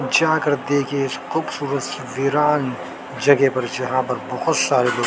जाकर देखिए इस खूबसूरत सी विरान जगह पर जहां पर बहुत सारे लो--